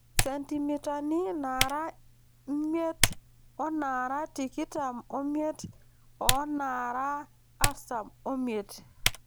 Sentimitani naara miet oonaara tikitam omiet oonaara artam omiet.